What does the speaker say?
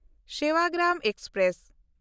Sevagram express